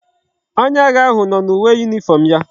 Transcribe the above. Onye agha ahu no na uwe uniform ya